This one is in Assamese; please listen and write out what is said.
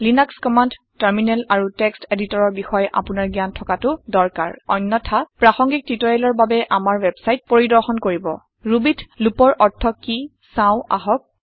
লিনাস কমাণ্ড টাৰমিনেল আৰু টেক্সট এদিটৰ ৰ বিষয় আপুনাৰ জ্ঞান থকাতু দৰকাৰ । অন্যথা প্ৰাসংগিক টিওটৰিয়েলৰ বাবে আমাৰ ৱেবছাইট পৰিদৰ্শন কৰিব । Rubyত লুপৰ অৰ্থ কি চাওঁ আহক